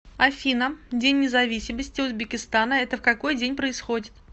афина день независимости узбекистана это в какой день происходит